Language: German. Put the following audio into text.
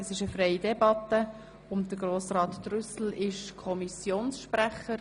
Wir führen eine freie Debatte und Grossrat Trüssel ist Kommissionssprecher.